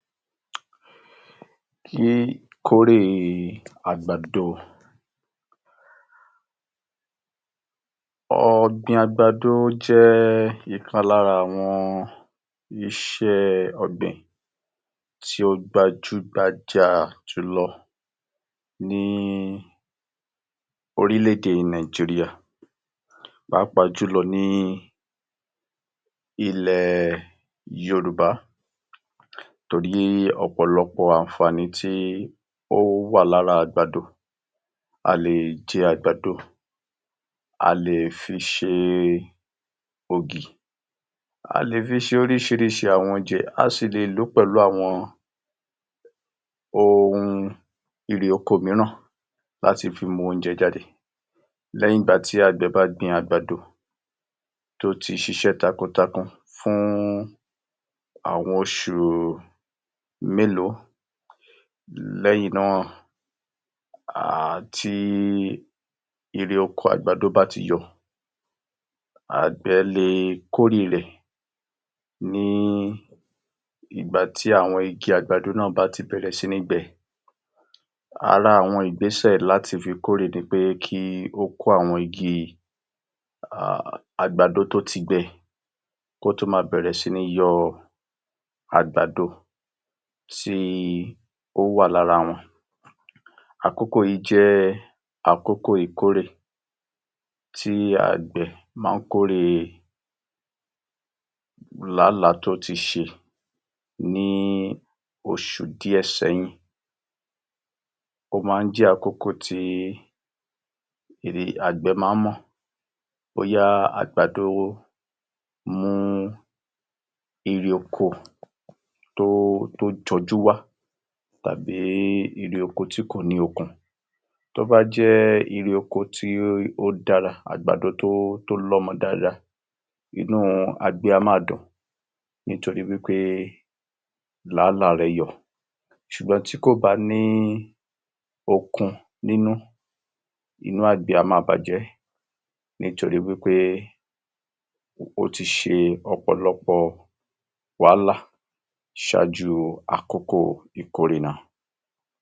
Kíkórè àgbàdo Ọ̀gbìn àgbàdo jẹ́ ìkan lára àwọn iṣẹ́ ọ̀gbìn, tí ó gbajú gbajà jùlọ ní orílẹ̀-ède Nàìjíríà pàápàá jùlọ nílẹ yorùbá torí ọ̀pọ̀lọpọ̀ àǹfàní tó wà lára àgbàdo, a lè jẹ àgbàdo, a lè fi ṣe ògì, a lè fi ṣe oríṣiríṣi àwọn oúnjẹ, a sì lè lò ó pẹ̀lu àwọn ohun ère oko míràn láti fi mú oúnjẹ jáde, lẹ́yìn ìgbà tí àgbẹ̀ bá gbin àgbàdo tó ti ṣiṣẹ́ takuntakun fún àwọn oṣù mélòó lẹ́yìn náà, tí ère oko àgbàdo bá ti yọ, àgbẹ̀ lè kóre rẹ̀ nígbàtí àwọn ìgi àgbàdo náà bá ti bẹ̀rẹ̀ sí ní gbẹ, ara àwọn ìgbésẹ̀ láti fi kórè ni pé kí ó kó àwọn igi àgbàdo tó ti gbẹ kó tó máa yọ àwọn àgbàdo tí ó wà lára wọn, àkókò yìí jẹ́ àkóko ìkórè tí àgbẹ̀ ma ń kóre làálàá tó ti ṣe ní oṣù díẹ̀ sẹ́yìn, ó ma ń jẹ́ àkókó ti àgbẹ̀ ma ń mọ̀, bóyá àgbàdo mú irè oko tó jọjú wá tàbí erè oko tí kò ní okun, tó bá jẹ́ erè oko àgbàdo tó lọ́mọ dáadáa, inú àgbẹ̀ á máa dùn nítorí pé làála rẹ̀ yọ, ṣùgbọ́n tí kò bá ní okun nínú, inú àgbẹ̀ á máa bàjẹ́, nítorí pé ó ti ṣe ọ̀pọ̀lọpọ̀ wàhálà ṣáájú àkókó ìkórè náà